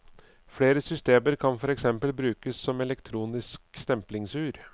Flere systemer kan for eksempel brukes som elektronisk stemplingsur.